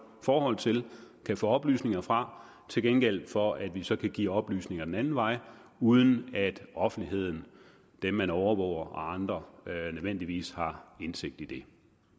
forhold til og kan få oplysninger fra til gengæld for at vi så kan give oplysninger den anden vej uden at offentligheden dem man overvåger og andre nødvendigvis har indsigt i det